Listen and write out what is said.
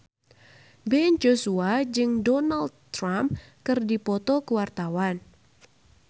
Ben Joshua jeung Donald Trump keur dipoto ku wartawan